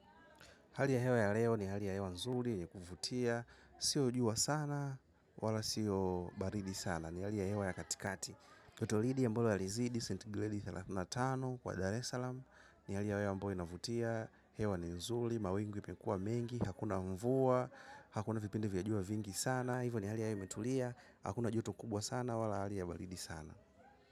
Hali ya hewa ya leo ni hali ya hewa nzuri yenye kuvutia. Sio jua sana wala sio baridi sana. Ni hali ya hewa ya katikati kotolidi ambaloalizidi, St. Glady thelathini na tano kwa Dar es Salaam. Ni hali ya hewa ambayo inavutia. Hewa ni nzuli, mawingu imekua mengi. Hakuna mvua, hakuna vipindi vya jua vingi sana. Hivo ni hali ya hewa imetulia. Hakuna juto kubwa sana wala hali ya baridi sana.